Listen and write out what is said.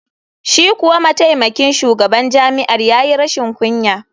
Shi kuwa mataimakin shugaban jami’ar ya yi rashin kunya.